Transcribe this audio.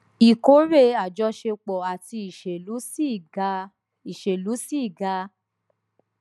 ìkórè àjọṣepọ àti ìṣèlú ṣi ga ìṣèlú ṣi ga